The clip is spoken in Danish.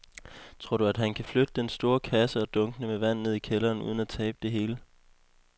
Tror du, at han kan flytte den store kasse og dunkene med vand ned i kælderen uden at tabe det hele?